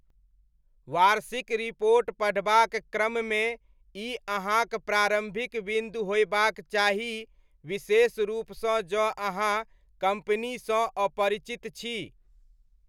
वार्षिक रिपोर्ट पढ़बाक क्रममे ई अहाँक प्रारम्भिक बिन्दु होयबाक चाही, विशेष रूपसँ जँ अहाँ कम्पनीसँ अपरिचित छी।